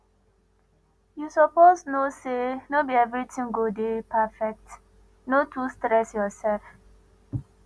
you suppose know sey no be everytin go dey perfect no too stress yoursef